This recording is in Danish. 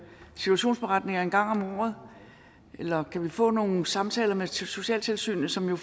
situationsberetninger en gang om året eller kan vi få nogle samtaler med socialtilsynet som jo